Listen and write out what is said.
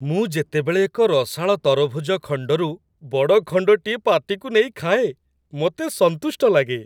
ମୁଁ ଯେତେବେଳେ ଏକ ରସାଳ ତରଭୁଜ ଖଣ୍ଡରୁ ବଡ଼ ଖଣ୍ଡଟିଏ ପାଟିକୁ ନେଇ ଖାଏ, ମୋତେ ସନ୍ତୁଷ୍ଟ ଲାଗେ।